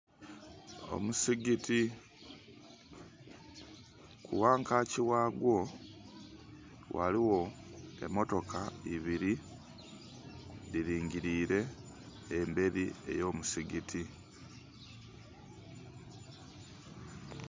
Omusigiti wankaki wagwo ghaliwo emotoka ebiri dhilingilire emberi ey'omusigiti